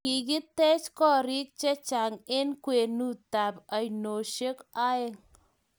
Kikitekchi korik chechang eng kwenutab oinosiek oeng